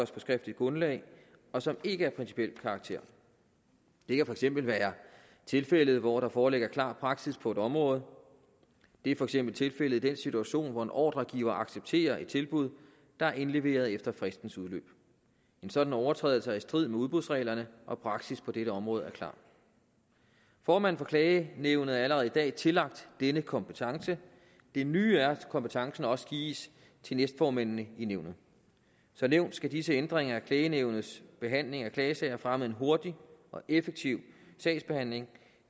skriftligt grundlag og som ikke er af principiel karakter det kan for eksempel være tilfældet hvor der foreligger klar praksis på et område det er for eksempel tilfældet i den situation hvor en ordregiver accepterer et tilbud der er indleveret efter fristens udløb en sådan overtrædelse er i strid med udbudsreglerne og praksis på dette område er klar formanden for klagenævnet er allerede i dag tillagt denne kompetence det nye er at kompetencen også gives til næstformændene i nævnet som nævnt skal disse ændringer af klagenævnets behandling af klagesager fremme en hurtig og effektiv sagsbehandling